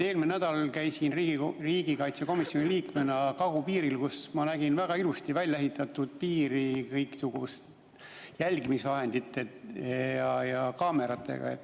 Eelmine nädal käisin ma riigikaitsekomisjoni liikmena kagupiiril, kus ma nägin väga ilusti välja ehitatud piiri kõiksuguste jälgimisvahendite ja kaameratega.